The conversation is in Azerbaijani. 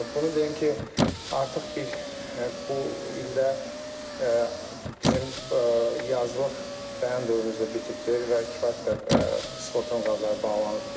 Bunu deyim ki, artıq bir bu ildə bizim yazlıq bəyan dövrümüz də bitibdir və kifayət qədər sığorta müqavilələri bağlanıbdır.